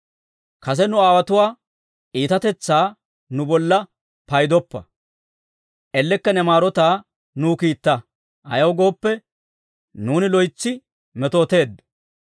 Kase nu aawotuwaa iitatetsaa nu bolla paydoppa. Ellekka ne maarotaa nuw kiitta; ayaw gooppe, nuuni loytsi metooteeddo.